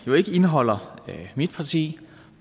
jo ikke indeholder mit parti vi